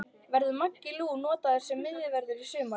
Verður Maggi Lú notaður sem miðvörður í sumar?